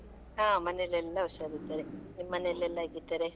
ಹಾ, ಮನೆಯಲ್ಲಿ ಎಲ್ಲಾ ಹುಷಾರಿದ್ದಾರೆ ನಿಮ್ ಮನೆಯಲೆಲ್ಲ ಹೇಗಿದ್ದಾರೆ?